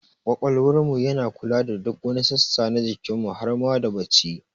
Ƙwaƙwalwar mu yana kula da duk wani sassa na jikin mu har ma da bacci